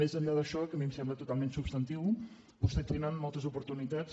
més enllà d’això que a mi em sembla totalment substantiu vostès tenen moltes oportunitats